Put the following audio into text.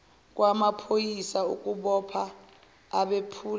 kwamaphoyisa ukubopha abephula